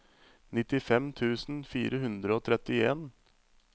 nittifem tusen fire hundre og trettien